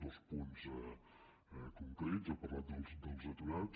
dos punts concrets ha parlat dels aturats